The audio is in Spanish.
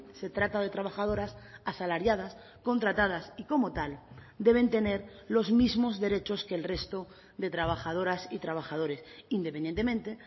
se trata de trabajadoras asalariadas contratadas y como tal deben tener los mismos derechos que el resto de trabajadoras y trabajadores independientemente